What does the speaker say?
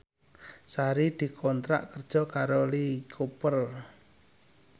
Sari dikontrak kerja karo Lee Cooper